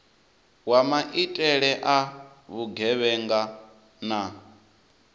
wa maitele a vhugevhenga na